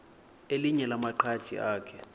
elinye lamaqhaji akhe